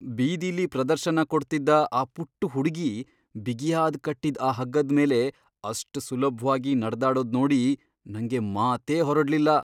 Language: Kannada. ಬೀದಿಲಿ ಪ್ರದರ್ಶನ ಕೊಡ್ತಿದ್ದ ಆ ಪುಟ್ಟು ಹುಡ್ಗಿ ಬಿಗಿಯಾಗ್ ಕಟ್ಟಿದ್ ಆ ಹಗ್ಗದ್ಮೇಲೆ ಅಷ್ಟ್ ಸುಲಭ್ವಾಗಿ ನಡ್ದಾಡೋದ್ನೋಡಿ ನಂಗೆ ಮಾತೇ ಹೊರಡ್ಲಿಲ್ಲ.